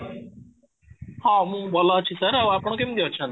ହଁ, ମୁଁ ଭଲ ଅଛି, ସାର ଆଉ ଆପଣ କେମିତି ଅଛନ୍ତି?